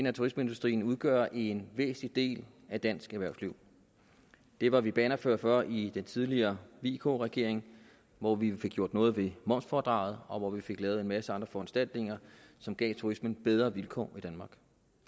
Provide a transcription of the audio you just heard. at turismeindustrien udgør en væsentlig del af dansk erhvervsliv det var vi bannerfører for i den tidligere vk regering hvor vi fik gjort noget ved momsfradraget og hvor vi fik lavet en masse andre foranstaltninger som gav turismen bedre vilkår i danmark